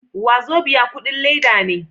Wazobia kudin leda ne.